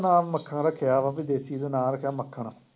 ਉਹਦਾ ਨਾਮ ਮੱਖਣ ਰੱਖਿਆ ਵਾ, ਬਈ ਦੇਸੀ ਜਿਹਾ ਨਾਂ ਰੱਖਿਆ ਮੱਖਣ